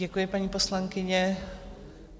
Děkuji, paní poslankyně.